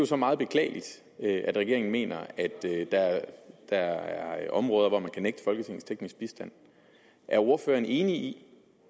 så meget beklageligt at regeringen mener at der er områder hvor man kan nægte folketinget teknisk bistand er ordføreren enig i